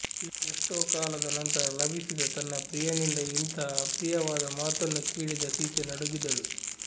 ಎಷ್ಟೋ ಕಾಲದ ನಂತರ ಲಭಿಸಿದ ತನ್ನ ಪ್ರಿಯನಿಂದ ಇಂತಹ ಅಪ್ರಿಯವಾದ ಮಾತನ್ನು ಕೇಳಿದ ಸೀತೆ ನಡುಗಿದಳು